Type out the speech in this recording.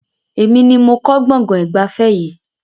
Èmi ni mo kọ́ gbọ̀ngàn ìgbafẹ́ yìí